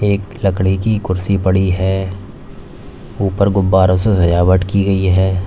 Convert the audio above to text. एक लकड़ी की कुर्सी पड़ी है ऊपर गुब्बारों से सजावट की गई है।